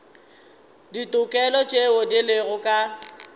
ditokelo tšeo di lego ka